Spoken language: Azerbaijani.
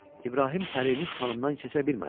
İbrahim Pərinuş xanımdan keçə bilmədi.